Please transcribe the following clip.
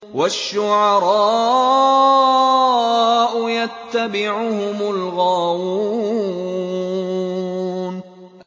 وَالشُّعَرَاءُ يَتَّبِعُهُمُ الْغَاوُونَ